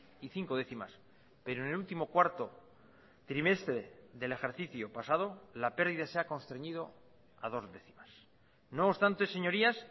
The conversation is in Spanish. y cinco décimas pero en el último cuarto trimestre del ejercicio pasado la pérdida se ha constreñido a dos décimas no obstante señorías